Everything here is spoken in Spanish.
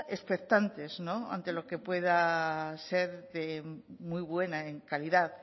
expectantes ante lo que pueda ser de muy buena en calidad